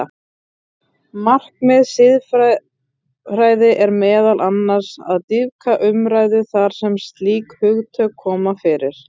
Markmið siðfræði er meðal annars að dýpka umræðu þar sem slík hugtök koma fyrir.